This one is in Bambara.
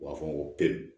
U b'a fɔ ko